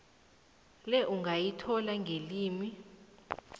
le ungayithola ngelimi